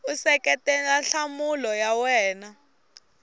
u seketela nhlamulo ya wena